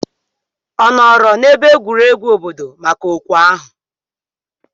Ọ nọọrọ n'ebe egwuregwu obodo maka okwe ahụ?